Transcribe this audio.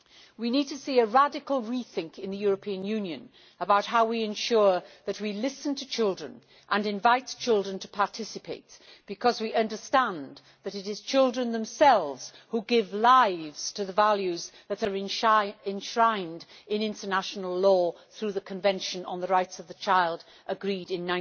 We need to see a radical rethink in the European Union about how we ensure that we listen to children and invite children to participate, because we understand that it is children themselves who give lives to the values that are enshrined in international law through the Convention on the Rights of the Child agreed in